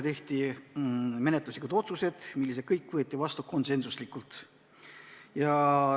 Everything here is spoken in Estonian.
Tehti menetluslikud otsused, mis kõik võeti vastu konsensuslikult.